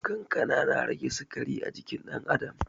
Kankana na rage sikari a jinin ɗan adam